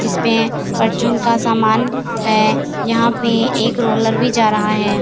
जिसपे परचून का समान है यहाँ पे एक रोलर भी जा रहा है।